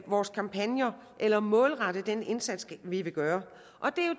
vores kampagner eller målrette den indsats vi vil gøre